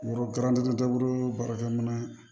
Yɔrɔ garantan dabɔ baarakɛ minɛn